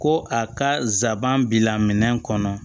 Ko a ka nsaban bi laminɛ kɔnɔ